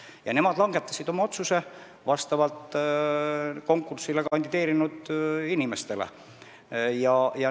Ja nemad langetasid oma otsuse konkursil kandideerinud inimeste vahel valides.